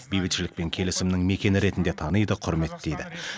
бейбітшілік пен келісімнің мекені ретінде таниды құрметтейді